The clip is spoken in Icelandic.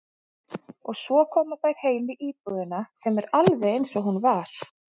Og svo koma þær heim í íbúðina sem er alveg einsog hún var.